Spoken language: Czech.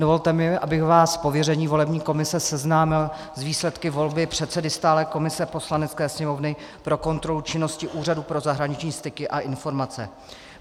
Dovolte mi, abych vás z pověření volební komise seznámil s výsledky volby předsedy stálé komise Poslanecké sněmovny pro kontrolu činnosti Úřadu pro zahraniční styky a informace.